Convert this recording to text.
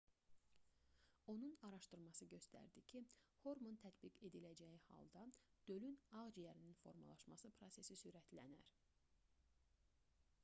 onun araşdırması göstərdi ki hormon tətbiq ediləcəyi halda dölün ağciyərinin formalaşması prosesi sürətlənər